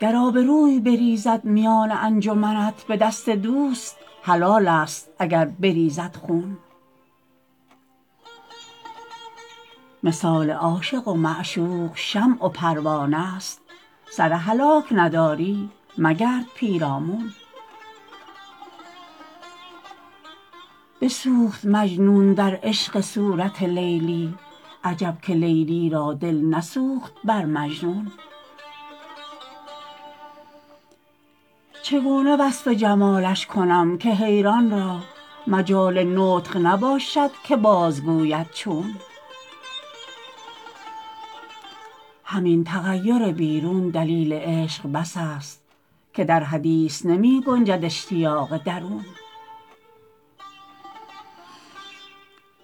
گر آبروی بریزد میان انجمنت به دست دوست حلال است اگر بریزد خون مثال عاشق و معشوق شمع و پروانه ست سر هلاک نداری مگرد پیرامون بسوخت مجنون در عشق صورت لیلی عجب که لیلی را دل نسوخت بر مجنون چگونه وصف جمالش کنم که حیران را مجال نطق نباشد که بازگوید چون همین تغیر بیرون دلیل عشق بس است که در حدیث نمی گنجد اشتیاق درون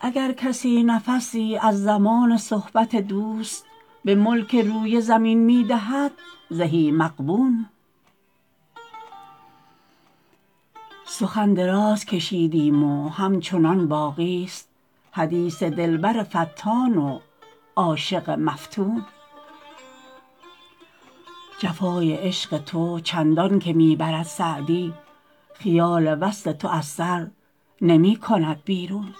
اگر کسی نفسی از زمان صحبت دوست به ملک روی زمین می دهد زهی مغبون سخن دراز کشیدیم و همچنان باقی ست حدیث دلبر فتان و عاشق مفتون جفای عشق تو چندان که می برد سعدی خیال وصل تو از سر نمی کند بیرون